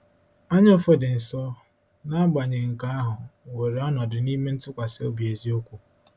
Anyaụfụ dị nsọ, n’agbanyeghị nke ahụ, nwere ọnọdụ n’ime ntụkwasị obi eziokwu.